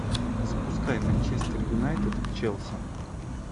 запускай манчестер юнайтед челси